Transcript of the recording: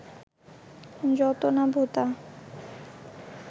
যত না ভোঁতা